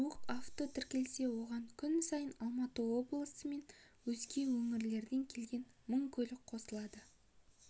жуық авто тіркелсе оған күн сайын алматы облысы мен өзге өңірден келген мың көлік қосылады